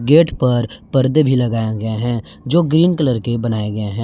Gate पर पर्दे भी लगाया गया है जो ग्रीन कलर के बनाए गए है।